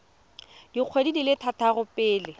dikgwedi di le tharo pele